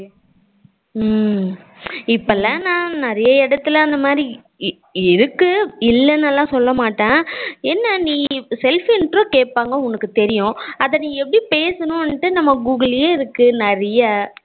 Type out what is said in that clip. ஹம் இப்போலாம் நா நிறைய இடத்துல அந்த மாதிரி இருக்கு இல்லனுலாம் சொல்ல மாட்டேன், என்ன நீ self intro கேப்பாங்கா உனக்கு தெரியும் அத நீ எப்படி பேசணும்னுடு நம்ம google யே இருக்கு நிறைய